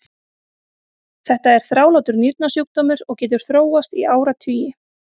Þetta er þrálátur nýrnasjúkdómur og getur þróast í áratugi.